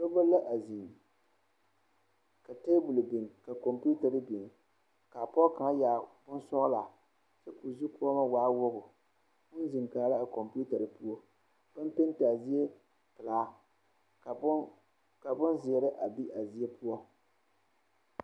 Dɔba a zeŋ ka tabol biŋ ka kɔmpiitare biŋ kaa pɔge kaŋa yɛrɛ bonsɔgelaa kyɛ ka o zukɔmɔ waa wogi o zeŋ kaara a kɔmpiitare poɔ baŋ pente a zie pelaa ka bonzeere a be a zie poɔ